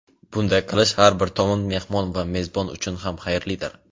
Bunday qilish har bir tomon – mehmon va mezbon uchun ham xayrlidir.